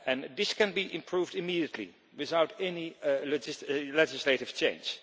This can be improved immediately without any legislative change.